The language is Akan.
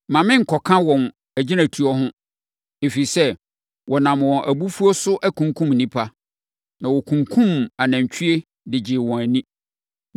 Mma me nkɔka wɔn agyinatuo ho, ɛfiri sɛ, wɔnam wɔn abufuo so akunkum nnipa, na wɔkunkumm anantwie de gyee wɔn ani.